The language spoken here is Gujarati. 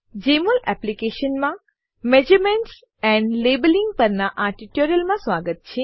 જેમોલ એપ્લીકેશનમાં મેઝરમેન્ટ્સ એન્ડ લેબલિંગ પરનાં આ ટ્યુટોરીયલમાં સ્વાગત છે